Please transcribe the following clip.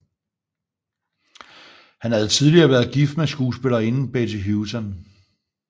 Han havde tidligere været gift med skuespillerinden Betty Hutton